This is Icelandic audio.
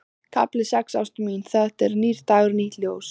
KAFLI SEX Ástin mín, það er nýr dagur, nýtt ljós.